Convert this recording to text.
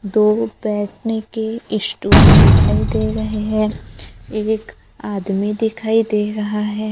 दो बैठने के स्टूल दिखाई दे रहे हैं एक आदमी दिखाई दे रहा है।